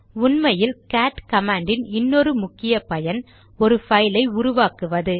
உண்மையில் cat command யின் இன்னொரு முக்கிய பயன் ஒரு பைல் ஐ உருவாக்குவது